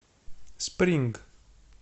спринг